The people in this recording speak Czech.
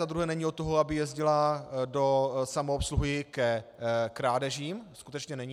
Za druhé není od toho, aby jezdila do samoobsluhy ke krádežím, skutečně není.